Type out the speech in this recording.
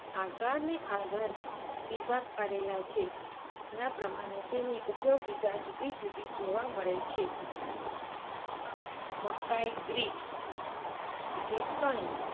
આકારને આધારે વિભાગ પાડેલા છે. જેના પ્રમાણે તેની ઉપયોગિતા જુદી-જુદી જોવા મળે છે. મકાઇ grit એટલે કણી